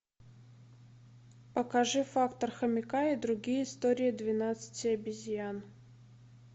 покажи фактор хомяка и другие истории двенадцати обезьян